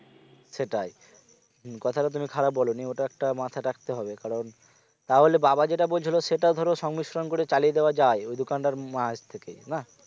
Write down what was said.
সেটাই হুঁ কথাটা তুমি খারাপ বলোনি ওটা একটা মাথায় রাখতে হবে কারণ তাহলে বাবা যেটা বলছিল সেটা ধরো সংমিশ্রণ করে চালিয়ে দেওয়া যায় ওই দোকানটার মাঝ থেকে না